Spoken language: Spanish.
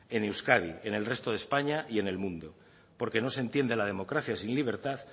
en euskadi en el resto españa y en el mundo porque no se entiende la democracia sin libertad